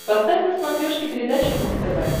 поставь на смотрешке передачу муз тв